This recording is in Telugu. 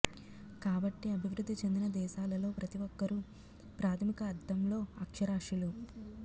కాబట్టి అభివృద్ధి చెందిన దేశాలలో ప్రతిఒక్కరు ప్రాథమిక అర్ధంలో అక్షరాస్యులు